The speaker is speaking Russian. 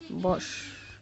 бош